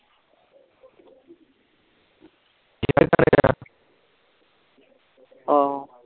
ਆਹੋ